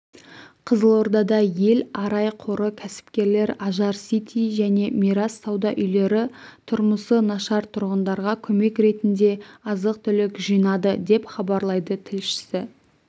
қызылордада ел арай қоры кәсіпкерлер ажар сити және мирас сауда үйлері тұрмысы нашартұрғындарға көмек ретінде азық-түлік жинады деп хабарлайды тілшісі